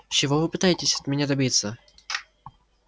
чего вы пытаетесь от меня добиться